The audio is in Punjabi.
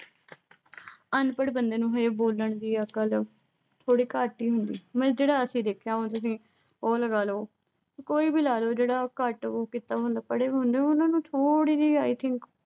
ਅਨਪੜ੍ਹ ਬੰਦੇ ਨੂੰ ਵੀ ਵੈਸੇ ਬੋਲਣ ਦੀ ਅਕਲ ਥੋੜ੍ਹੀ ਘੱਟ ਹੀ ਹੁੰਦੀ। ਮਤਲਬ ਜਿਹੜਾ ਅਸੀਂ ਦੇਖਿਆ, ਉਹ ਲਗਾਲੋ। ਕੋਈ ਵੀ ਲਗਾਲੋ। ਜਿਹੜਾ ਘੱਟ ਉਹੋ ਕੀਤਾ ਹੁੰਦਾ ਪੜ੍ਹੇ ਬਏ ਹੁੰਦੇ ਆ ਨਾ, ਉਨ੍ਹਾਂ ਨੂੰ ਥੋੜ੍ਹੀ ਜੀ i think